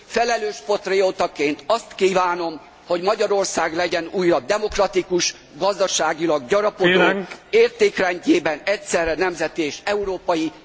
Felelős patriótaként azt kívánom, hogy Magyarország legyen újra demokratikus, gazdaságilag gyarapodó, értékrendjében egyszerre nemzeti és európai.